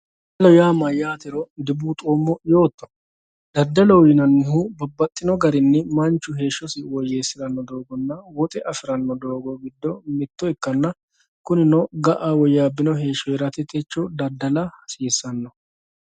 daddalohoyaa mayyaatero dibuuxoommo yootto daddaloho yinannihu babbaxino garinni manchu heeshshosi woyyeessate assiranno doogonna woxe afiranno doogo giddo mitto ikkanna kunino ga'a woyyaabbino heeshshora techo daddala hasiissano